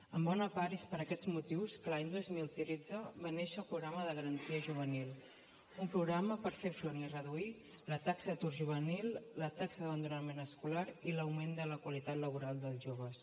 en bona part és per aquests motius que l’any dos mil tretze va néixer el programa de garantia juvenil un programa per fer front i reduir la taxa d’atur juvenil la taxa d’abandonament escolar i l’augment de la qualitat laboral dels joves